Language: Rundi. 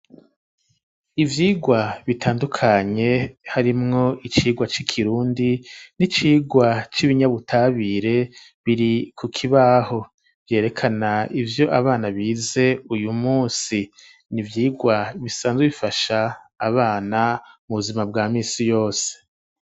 Ivyigwa bitandukanye harimwo icigwa c'ikirundi n'icigwa cy'ibinyabutabire biri ku kibaho vyerekana ivyo abana bize uyu munsi n'ivyigwa bisanzwe bifasha abana mu buzima bwa minsi yose.